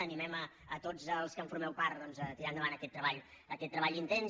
animem a tots els que en formeu part doncs a tirar endavant aquest treball aquest treball intens